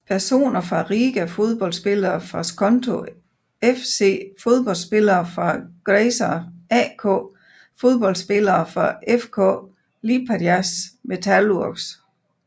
Personer fra Riga Fodboldspillere fra Skonto FC Fodboldspillere fra Grazer AK Fodboldspillere fra FK Liepājas Metalurgs